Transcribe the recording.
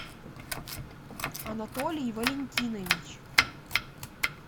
анатолий валентинович